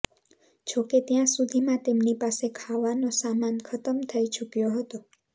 જો કે ત્યાં સુધીમાં તેમની પાસે ખાવાનો સામાન ખતમ થઇ ચુક્યો હતો